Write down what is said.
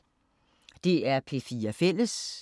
DR P4 Fælles